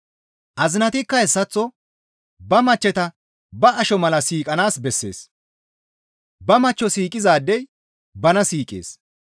Azinatikka hessaththo ba machcheta ba asho mala siiqanaas bessees; ba machcho siiqizaadey bana siiqees.